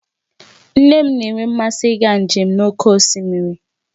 Nne m na-enwe mmasị ịga njem n'oké osimiri